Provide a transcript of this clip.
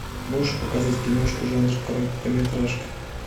можешь показать киношку жанр короткометражка